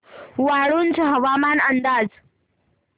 वाळूंज हवामान अंदाज